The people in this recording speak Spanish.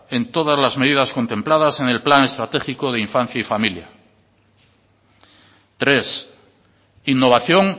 en todas las medidas contempladas en el plan estratégico de infancia y familia tres innovación